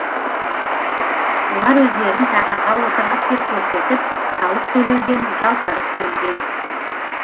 олар өздерін тақырға отырдық деп көрсетіп салық төлеуден жалтарып келген